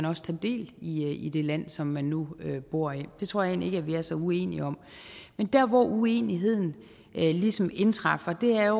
også tager del i det land som man nu bor i det tror jeg egentlig ikke vi er så uenige om men der hvor uenigheden ligesom indtræffer er